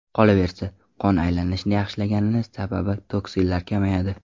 Qolaversa, qon aylanishi yaxshilangani sabab toksinlar kamayadi.